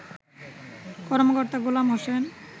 কর্মকর্তা গোলাম হোসেন